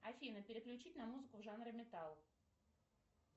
афина переключить на музыку в жанре металл